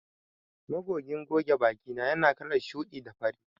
Magogin goge bakina yana kalar shuɗi da fari.